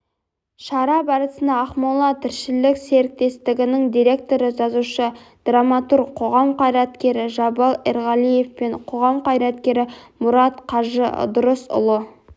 шара барысында ақмола-тіршілік серіктестігінің директоры жазушы-драматург қоғам қайраткері жабал ерғалиев пен қоғам қайраткері мұрат қажы ыдырысұлы